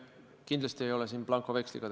Kindlasti ei ole tegemist blankoveksliga.